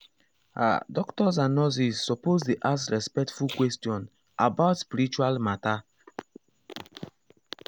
ah doctors and nurses suppose dey ask respectful questions about spiritual matter.